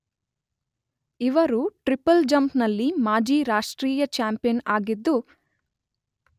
ಇವರು triple jump ನಲ್ಲಿ ಮಾಜಿ ರಾಷ್ಟ್ರೀಯ ಚಾಂಪಿಯನ್ ಆಗಿದ್ದು